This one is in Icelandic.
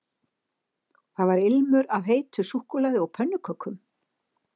Það var ilmur af heitu súkkulaði og pönnukökum